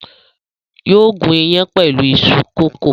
Yóò gún iyán pẹ̀lú iṣu kókò.